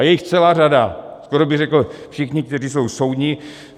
A je jich celá řada, skoro bych řekl všichni, kteří jsou soudní.